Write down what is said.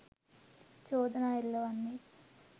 චෝදනා එල්ල වන්නේ